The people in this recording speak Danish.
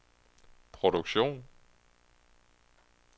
produktion